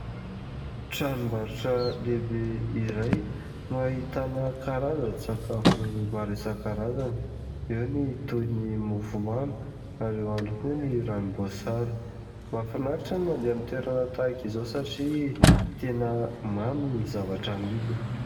Tranom-barotra lehibe iray no ahitana karazan-tsakafo maro isan-karazany, eo ny toy ny mofomamy, ao ihany koa ny ranom-boasary. Mahafinaritra ny mandeha amin'ny toerana tahaka izao satria tena mamy ny zavatra amidiny.